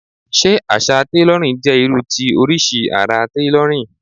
Ṣé àṣà tailorin jẹ́ irú ti oríṣi ara tailorin?